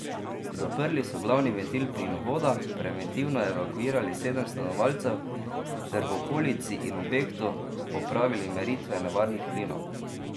Zaprli so glavni ventil plinovoda, preventivno evakuirali sedem stanovalcev ter v okolici in objektu opravili meritve nevarnih plinov.